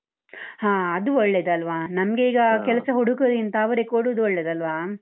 ಹಾ ಅದು ಒಳ್ಳೇದಲ್ವಾ ನಮ್ಗೆ ಈಗ ಕೆಲ್ಸ ಹುಡುಕುವುದಕ್ಕಿಂತ, ಅವರೇ ಕೊಡುದು ಒಳ್ಳೇದಲ್ವಾ?